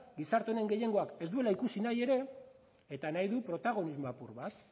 gizarte honen gehiengoak ez duela ikusi nahi ere eta nahi du protagonismo apur bat